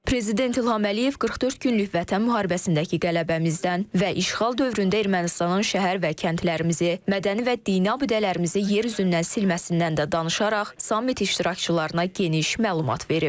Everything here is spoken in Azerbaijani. Prezident İlham Əliyev 44 günlük Vətən müharibəsindəki qələbəmizdən və işğal dövründə Ermənistanın şəhər və kəndlərimizi, mədəni və dini abidələrimizi yer üzündən silməsindən də danışaraq sammit iştirakçılarına geniş məlumat verib.